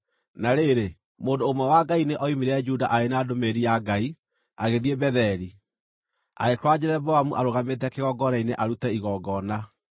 Na rĩrĩ, mũndũ ũmwe wa Ngai nĩ oimire Juda arĩ na ndũmĩrĩri ya Ngai, agĩthiĩ Betheli, agĩkora Jeroboamu arũgamĩte kĩgongona-inĩ arute igongona.